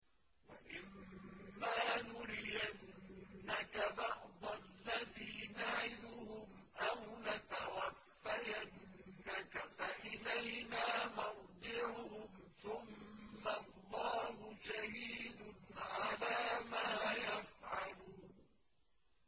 وَإِمَّا نُرِيَنَّكَ بَعْضَ الَّذِي نَعِدُهُمْ أَوْ نَتَوَفَّيَنَّكَ فَإِلَيْنَا مَرْجِعُهُمْ ثُمَّ اللَّهُ شَهِيدٌ عَلَىٰ مَا يَفْعَلُونَ